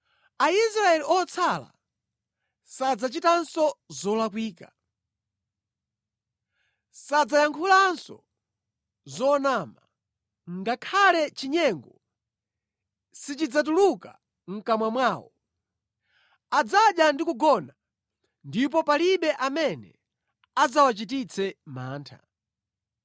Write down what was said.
Aisraeli otsala sadzachitanso zolakwika; sadzayankhulanso zonama, ngakhale chinyengo sichidzatuluka mʼkamwa mwawo. Adzadya ndi kugona ndipo palibe amene adzawachititse mantha.”